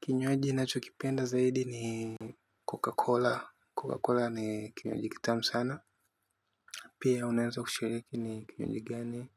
Kinywaji nachokipenda zaidi ni Coca-Cola. Coca-Cola ni kinywaji kitamu sana. Pia unaeza kushiriki ni kipindi gani.